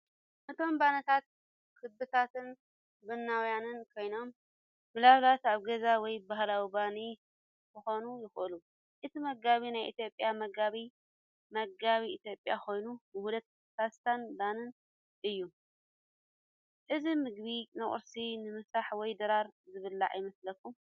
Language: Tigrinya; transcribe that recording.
እቶም ባኒታት ክቡባትን ቡናውያንን ኮይኖም፡ ምናልባት ኣብ ገዛ ወይ ባህላዊ ባኒ ክኾኑ ይኽእሉ። እቲ መግቢ ናይ ኢትዮጵያ መግቢ (መግቢ ኢትዮጵያ) ኮይኑ፡ ውህደት ፓስታን ባኒን እዩ። እዚ ምግቢ ንቁርሲ፡ ንምሳሕ ወይ ድራር ዝብላዕ ይመስለኩም?